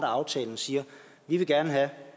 aftalen siger